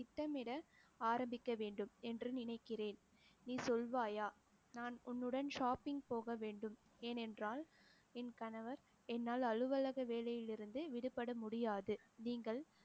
திட்டமிட ஆரம்பிக்க வேண்டும் என்று நினைக்கிறேன். நீ சொல்வாயா நான் உன்னுடன் shopping போக வேண்டும், ஏனென்றால் என் கணவர் என்னால் அலுவலக வேலையிலிருந்து விடுபட முடியாது நீங்கள்